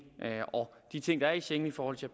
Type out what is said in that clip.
og de ting der er i schengen i forhold til